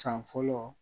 San fɔlɔ